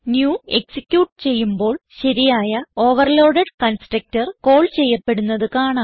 new execute ചെയ്യുമ്പോൾ ശരിയായ overload constructor call ചെയ്യപ്പെടുന്നത് കാണാം